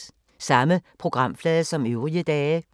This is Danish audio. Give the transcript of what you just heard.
Samme programflade som øvrige dage